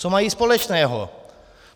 Co mají společného?